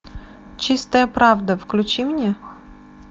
чистая правда включи мне